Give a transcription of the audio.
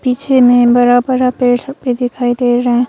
पीछे में बड़ा बड़ा पेड़ सब भी दिखाई दे रहा--